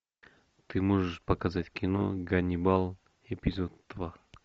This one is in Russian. ты можешь показать кино ганнибал эпизод два